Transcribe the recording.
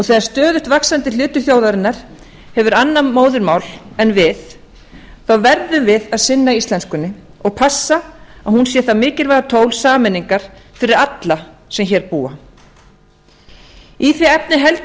þegar stöðugt vaxandi hluti þjóðarinnar hefur annað móðurmál en við verðum við að sinna íslenskunni og passa að hún sé það mikilvæga tól sameiningar fyrir alla sem hér búa í því efni held